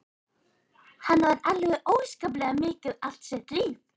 Hann vann alveg óskaplega mikið allt sitt líf.